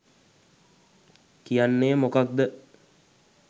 කියන්නෙ මොකක්ද?